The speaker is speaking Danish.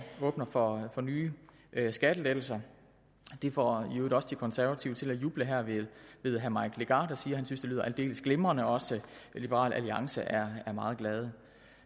åbner for nye skattelettelser det får i øvrigt også de konservative til at juble her ved herre mike legarth der siger synes det lyder aldeles glimrende også liberal alliance er meget glade